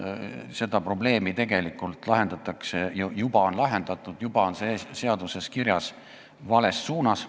Seda probleemi tegelikult lahendatakse – ja juba on lahendatud, juba on see seaduses kirjas – vales suunas.